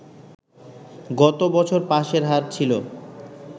গত বছর পাসের হার ছিল